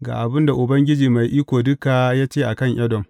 Ga abin da Ubangiji Mai Iko Duka ya ce a kan Edom.